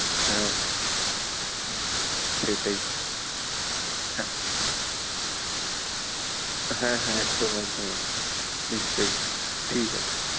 হ্যাঁ, সেই সেটাই হ্যাঁ, হ্যাঁ হ্যাঁ একদম একদম নিশ্চয়ই ঠিক আছে।